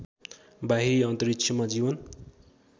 बाहिरी अन्तरिक्षमा जीवन